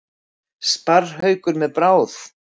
Sparrhaukur með bráð.